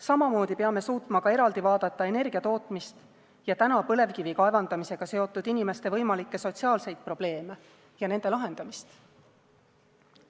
Samamoodi peame suutma ka eraldi vaadata energiatootmist ja täna põlevkivi kaevandamisega seotud inimeste võimalikke sotsiaalseid probleeme ja nende lahendamist.